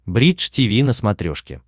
бридж тиви на смотрешке